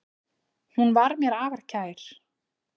Hún var mér afar kær.